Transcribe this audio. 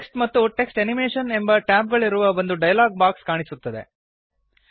text ಮತ್ತು text animation ಎಂಬ tab ಗಳಿರುವ ಒಂದು ಡಯಲಾಗ್ ಬಾಕ್ಸ್ ಕಾಣಿಸುತ್ತದೆ